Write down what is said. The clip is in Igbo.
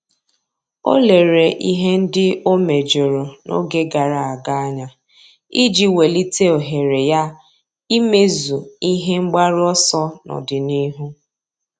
Ọ́ lérè ihe ndị ọ́ méjọ̀rọ̀ n’ógè gàrà ága anya iji wèlíté ohere ya ímézu ihe mgbaru ọsọ n’ọ́dị̀nihu.